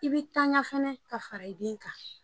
I bɛ tanga fana ka fara i den kan.